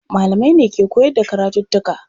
Malamai ne ke koyar da karatuttuka.